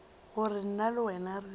gore nna le wena re